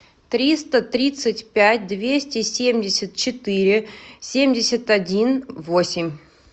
триста тридцать пять двести семьдесят четыре семьдесят один восемь